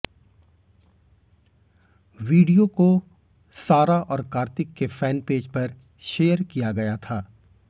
video को सारा और कार्तिक के फैन पेज पर शेयर किया गया था